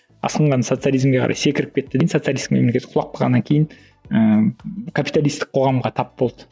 асқынған социализмге қарай секіріп кетті де социалистік мемлекет құлап қалғаннан кейін ыыы капиталистік қоғамға тап болды